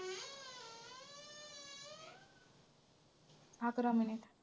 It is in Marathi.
अकरा minute